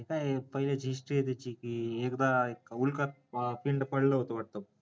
ते काय पहिलेच history आहे त्याची एकदा उल्का पिंड पडलं होत वाटत